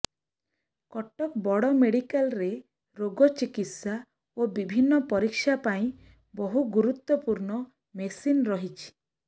କଟକ ବଡ ମେଡିକାଲରେ ରୋଗ ଚିକିତ୍ସା ଓ ବିଭିନ୍ନ ପରୀକ୍ଷା ପାଇଁ ବହୁ ଗୁରୁତ୍ବପୂର୍ଣ୍ଣ ମେସିନ ରହିଛି